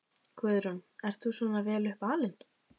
Guðrún: Ert þú svona vel upp alinn?